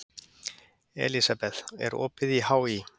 Elísabeth, er opið í HÍ?